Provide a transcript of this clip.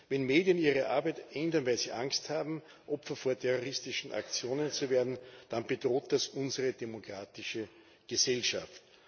Wenn Medien ihre Arbeit ändern, weil sie Angst haben, Opfer von terroristischen Aktionen zu werden, dann bedroht das unsere demokratische Gesellschaft.